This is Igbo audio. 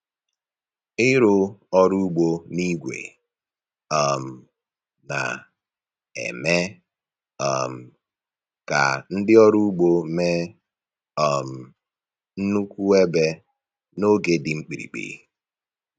Ịrụ ọrụ ugbo na igwe um na-eme um ka ndị ọrụ ugbo mee um nnukwu ebe n’oge dị mkpirikpi.